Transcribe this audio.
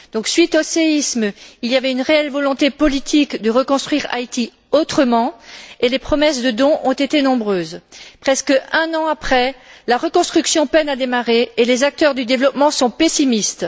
Suite au séisme, il y avait une réelle volonté politique de reconstruire Haïti autrement et les promesses de don ont été nombreuses. Presque un an après, la reconstruction peine à démarrer et les acteurs du développement sont pessimistes.